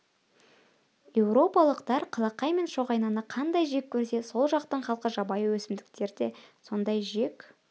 еуропалықтар қалақай мен шоғайнаны қандай жек көрсе сол жақтың халқы жабайы өсімдіктер да сондай жек